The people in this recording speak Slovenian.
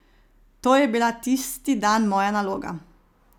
To je bila tisti dan moja naloga.